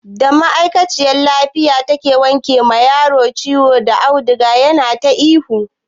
Da ma'aikaciyar jinya ke wanke ma yaron ciwo da auduga yana ta ihu.